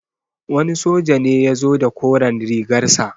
Wani soja ne ya zo da koren rigar sa.